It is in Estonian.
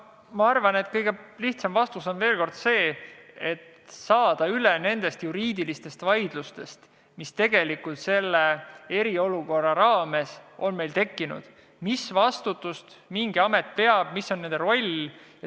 Ma arvan, et kõige lihtsam vastus, saamaks üle nendest juriidilistest vaidlustest, mis meil selle eriolukorra raames on tekkinud, on panna paika, millist vastutust mingisugune amet kannab ja mis on tema roll.